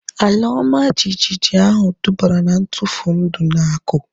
Ala ọma jijiji ahu dubara na ntufu ndụ na akụ